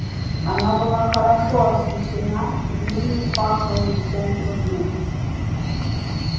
она была хорошо освещена и в ней не пахло ничем другим